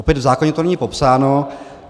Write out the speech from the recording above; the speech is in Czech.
Opět v zákoně to není popsáno.